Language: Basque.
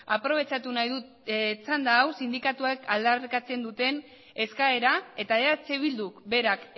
aprobetxatu nahi dut txanda hau sindikatuek aldarrikatzen duten eskaera eta eh bilduk berak